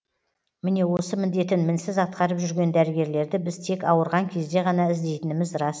міне осы міндетін мінсіз атқарып жүрген дәрігерлерді біз тек ауырған кезде ғана іздейтініміз рас